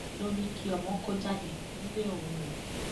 ló ní kí ọmọ kó jáde nílé òun o